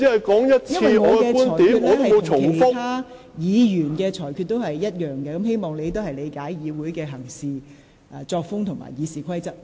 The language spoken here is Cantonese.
我對你的裁決與我對其他議員的裁決一致，請你理解議會的行事方式和《議事規則》。